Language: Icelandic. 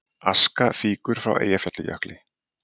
Aska fýkur frá Eyjafjallajökli